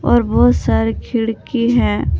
और बहुत सारे खिड़की है।